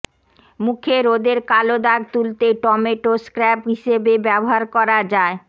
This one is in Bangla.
মুখে রোদের কালো দাগ তুলতে টমেটো স্ক্র্যাব হিসেবে ব্যবহার করা যায়